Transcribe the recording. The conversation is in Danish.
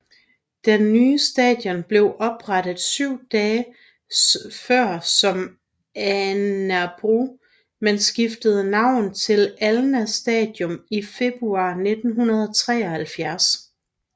Den nye station blev oprettet syv dage før som Alnabru men skiftede navn til Alna Station i februar 1973